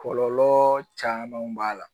Kɔlɔlɔ camanw b'a la